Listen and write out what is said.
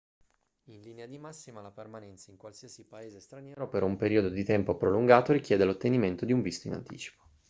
in linea di massima la permanenza in qualsiasi paese straniero per un periodo di tempo prolungato richiede l'ottenimento di un visto in anticipo